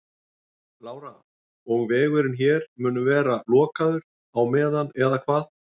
Lára: Og vegurinn hér mun vera lokaður á meðan eða hvað?